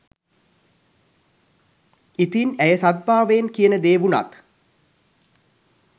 ඉතින් ඇය සද්භාවයෙන් කියන දේ වුනත්